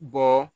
Bɔ